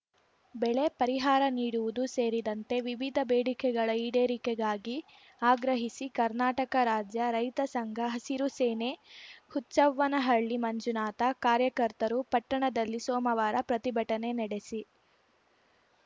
ಬೆಳೆ ಪರಿಹಾರ ನೀಡುವುದು ಸೇರಿದಂತೆ ವಿವಿಧ ಬೇಡಿಕೆಗಳ ಈಡೇರಿಕೆಗಾಗಿ ಆಗ್ರಹಿಸಿ ಕರ್ನಾಟಕ ರಾಜ್ಯ ರೈತ ಸಂಘ ಹಸೀರು ಸೇನೆಹುಚ್ಚವ್ವನಹಳ್ಳಿ ಮಂಜುನಾಥ ಕಾರ್ಯಕರ್ತರು ಪಟ್ಟಣದಲ್ಲಿ ಸೋಮವಾರ ಪ್ರತಿಭಟನೆ ನಡೆಸಿ